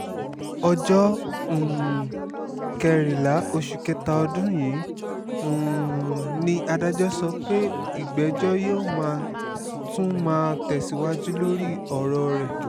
ọjọ́ um kẹrìnlá oṣù kẹta ọdún yìí um ni adájọ́ sọ pé ìgbẹ́jọ́ yóò tún máa tẹ̀síwájú lórí ọ̀rọ̀ rẹ̀